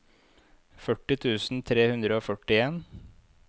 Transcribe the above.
førti tusen tre hundre og førtien